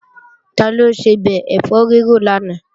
Taló sebẹ̀ ẹ̀fọ́ rírò lánàá?